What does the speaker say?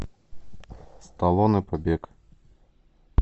сталлоне побег